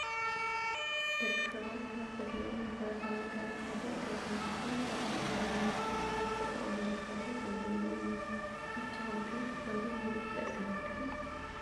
ደቂ ስባት ካብ ዘድሊዮም መስረታዊ ነገራት ሓደ ገዛ እንትኮን ፀገም መንበሪ ንምፍታሕ ካብ ዝተጠቀምሎም ሓደ ኮንደሚንየም እዩ ። ንስኩም ከ ኮንደሚንዮም ተጠቀምቲ ዲኩም?